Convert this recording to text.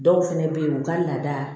Dɔw fɛnɛ be ye u ka laada